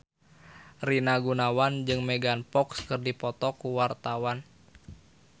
Rina Gunawan jeung Megan Fox keur dipoto ku wartawan